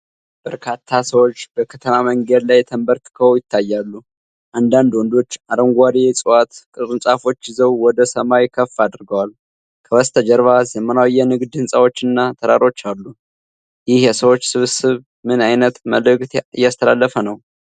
በርካታ ሰዎች በከተማ መንገድ ላይ ተንበርክከው ይታያሉ። አንዳንድ ወንዶች አረንጓዴ የዕፅዋት ቅርንጫፎች ይዘው ወደ ሰማይ ከፍ አድርገዋል። ከበስተጀርባ ዘመናዊ የንግድ ሕንጻዎችና ተራሮች አሉ። ይህ የሰዎች ስብስብ ምን ዓይነት መልዕክት እያስተላለፈ ነው?